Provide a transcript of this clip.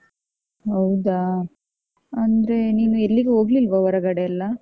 ಹೌದಾ? ಅಂದ್ರೆ ನೀನು ಎಲ್ಲಿಗು ಹೋಗ್ಲಿಲ್ವ ಹೊರಗಡೆಯೆಲ್ಲ?